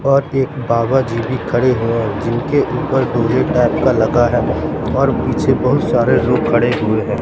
और एक बाबा जी भी खड़े हैं जिनके ऊपर टाइप का लगा है और पीछे बहुत सारे लोग खड़े हुए हैं।